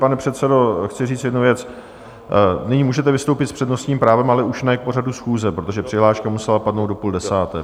Pane předsedo, chci říct jednu věc: nyní můžete vystoupit s přednostním právem, ale už ne k pořadu schůze, protože přihláška musela padnout do půl desáté.